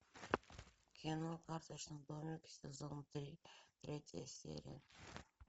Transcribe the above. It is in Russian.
кино карточный домик сезон три третья серия